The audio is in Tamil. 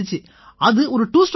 அது ஒரு 2 ஸ்ட்ரோக் பைக்